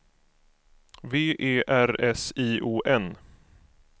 V E R S I O N